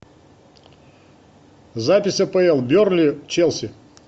запись апл бернли челси